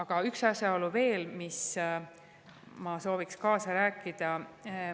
Ja üks asi veel, milles ma sooviksin kaasa rääkida.